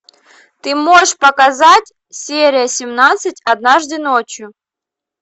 ты можешь показать серия семнадцать однажды ночью